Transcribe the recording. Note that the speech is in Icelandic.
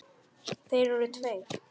Þeir eru tveir.